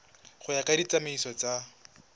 go ya ka ditsamaiso tsa